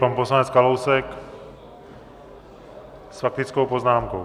Pan poslanec Kalousek s faktickou poznámkou.